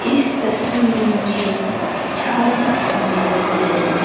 इस तस्वीर में मुझे चार डस्टबिन दिखाई दे रहे हैं।